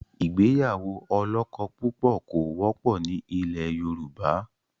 Ìgbéyàwó ọlọ́kọ̀púpọ̀ kò wọ́pọ̀ ni ilẹ̀ Yorùbá.